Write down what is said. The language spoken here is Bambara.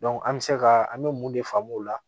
an bɛ se ka an bɛ mun de faamu o la